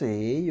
Sei.